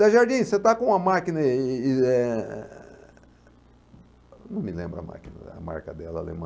Zé Jardim, você está com a máquina eh e e e eh... Não me lembro a máquina, a marca dela, alemã.